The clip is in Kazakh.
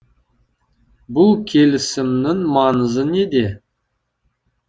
бұл келісімнің маңызы неде